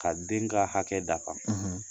Ka den kɛ hakɛ dafa .